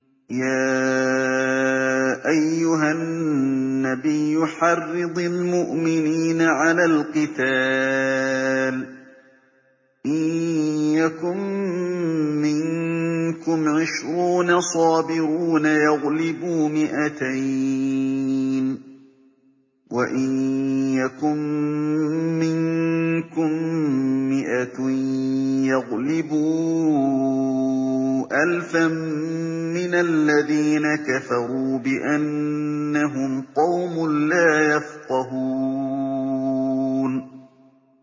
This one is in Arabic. يَا أَيُّهَا النَّبِيُّ حَرِّضِ الْمُؤْمِنِينَ عَلَى الْقِتَالِ ۚ إِن يَكُن مِّنكُمْ عِشْرُونَ صَابِرُونَ يَغْلِبُوا مِائَتَيْنِ ۚ وَإِن يَكُن مِّنكُم مِّائَةٌ يَغْلِبُوا أَلْفًا مِّنَ الَّذِينَ كَفَرُوا بِأَنَّهُمْ قَوْمٌ لَّا يَفْقَهُونَ